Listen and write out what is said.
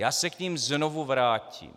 Já se k nim znovu vrátím.